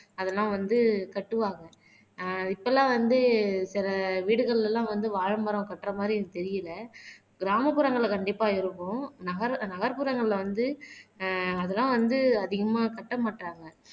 அதெல்லாம் வந்து கட்டுவாங்க ஆஹ் இப்பல்லாம் வந்து சில வீடுகள்லலாம் வந்து வாழைமரம் கட்டுற மாதிரி எனக்கு தெரியலே. கிராமப்புறங்கள்ல கண்டிப்பா இருக்கும் நகர் நகர்ப்புறங்கள்ல வந்து ஆஹ் அதெல்லாம் வந்து அதிகமா கட்ட மாட்டாங்க